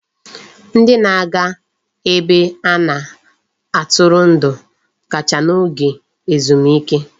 Ndị na-aga ebe a na-atụrụ ndụ kacha n'oge ezumike.